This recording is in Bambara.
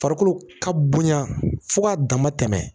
Farikolo ka bonya fo k'a dama tɛmɛ